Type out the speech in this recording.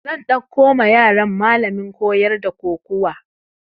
Zan ɗauko ma yaran malamin koyar da kokuwa